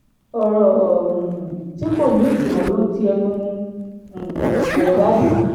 ọ̀rọ̀ um tí kò ní ìtumọ̀ ló ń ti ẹnu um rẹ̀ jáde